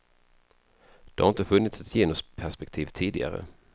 Det har inte funnits ett genusperspektiv tidigare.